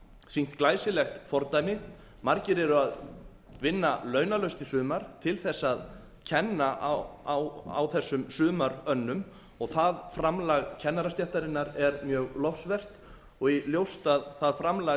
sýnt glæsilegt fordæmi margir eru að vinna launalaust í sumar til þess að kenna á þessum sumarönnum og það framlag kennarastéttarinnar er mjög lofsvert og ljóst að það framlag